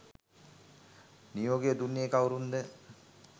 නියෝගය දුන්නේ කවුරුන්ද?